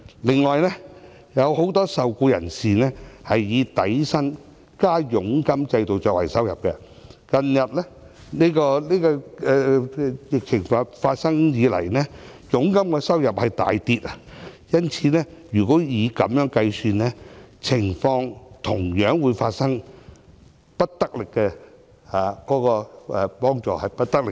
此外，有很多受僱人士是以底薪加佣金的制度來計算收入，疫情發生以來，他們的佣金收入大跌，因此，如果以此來計算，同樣會發生幫助力度不足的問題。